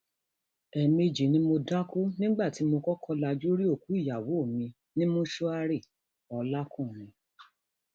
ẹẹmejì ni mo dákú nígbà tí mo kọkọ lajú rí òkú ìyàwó mi ní mọṣúárìọlàkùnrin